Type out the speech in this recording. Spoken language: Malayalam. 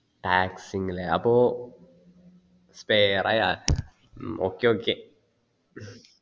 tax ങ് അല്ലെ അപ്പൊ spair ആയ ഹ്മ് okay okay